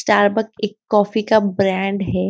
Starbucks एक coffee का brand है।